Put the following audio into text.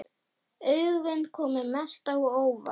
Augun komu mest á óvart.